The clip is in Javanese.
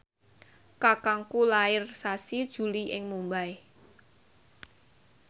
kakangku lair sasi Juli ing Mumbai